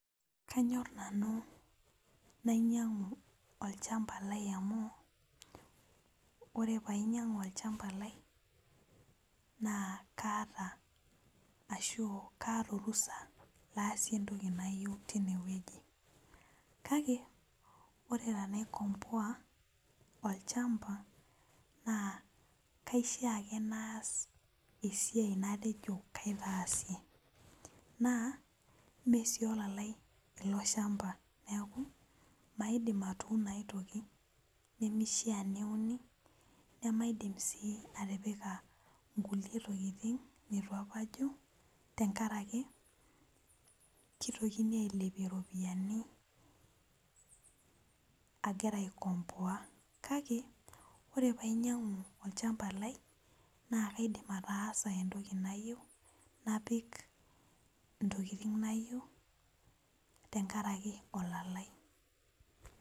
Kanyor nanu nainyang'u olchamba lai amu ore painyang'u olchamba lai na kaata ashu kaata orusha naasie entoki nayieu tinewueji kake ore tanaikomboa olchamba na kaishaa ake naas esiai natejo kaasie na meolalai iloshamba neaku maidimatuuno aai toki nimishaa peuni namaidim si atipika aai toki nitubapabajo tenkaraki kaitokini ailepie ropiyani agira aikomboa kake ore painyangu olchamba lai na kaidim ataasa entoki nayieu napik ntokitin nayiau tenkaraki olalai.